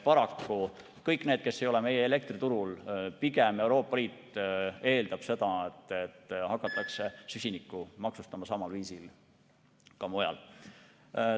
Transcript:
Paraku, kõik need, kes ei ole meie elektriturul – Euroopa Liit pigem eeldab seda, et süsinikku hakatakse maksustama mingil viisil ka mujal.